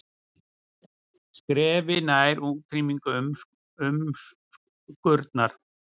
Skrefi nær útrýmingu umskurnar